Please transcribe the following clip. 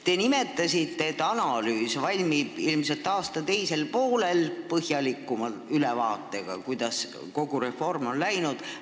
Te nimetasite, et analüüs valmib ilmselt aasta teisel poolel koos põhjalikuma ülevaatega, kuidas kogu reform on läinud.